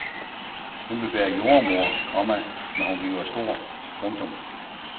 Hun vil være jordemoder, komma når hun bliver stor. punktum